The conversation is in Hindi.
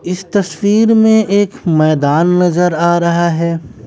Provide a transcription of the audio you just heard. इस तस्वीर में एक मैदान नजर आ रहा है।